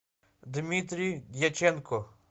дмитрий дьяченко